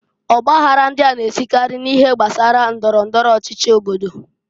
Ọ gbaghara ndịa na-esikary n'ihe gbasara ndọrọ ndọrọ ọchịchị obodo.